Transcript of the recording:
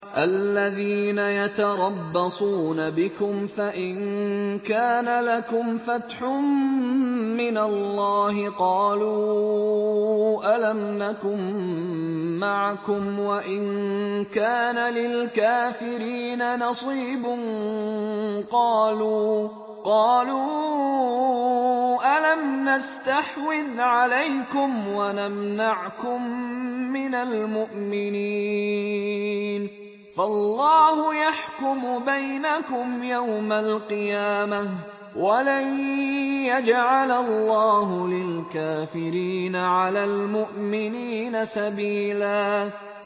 الَّذِينَ يَتَرَبَّصُونَ بِكُمْ فَإِن كَانَ لَكُمْ فَتْحٌ مِّنَ اللَّهِ قَالُوا أَلَمْ نَكُن مَّعَكُمْ وَإِن كَانَ لِلْكَافِرِينَ نَصِيبٌ قَالُوا أَلَمْ نَسْتَحْوِذْ عَلَيْكُمْ وَنَمْنَعْكُم مِّنَ الْمُؤْمِنِينَ ۚ فَاللَّهُ يَحْكُمُ بَيْنَكُمْ يَوْمَ الْقِيَامَةِ ۗ وَلَن يَجْعَلَ اللَّهُ لِلْكَافِرِينَ عَلَى الْمُؤْمِنِينَ سَبِيلًا